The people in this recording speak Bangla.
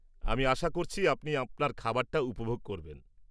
আমি আশা করছি আপনি আপনার খাবারটা উপভোগ করবেন।